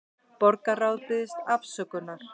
Borgarráð biðst afsökunar